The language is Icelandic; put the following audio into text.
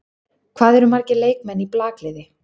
Hvað eru margir leikmenn í blakliði?